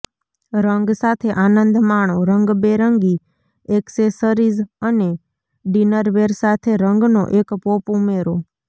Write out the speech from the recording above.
રંગ સાથે આનંદ માણો રંગબેરંગી એક્સેસરીઝ અને ડિનરવેર સાથે રંગનો એક પોપ ઉમેરો